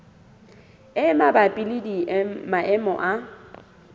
e mabapi le maemo a